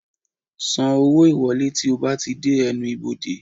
San owó ìwọlé tí o bá ti dé ẹnu ibodè